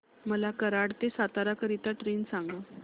मला कराड ते सातारा करीता ट्रेन सांगा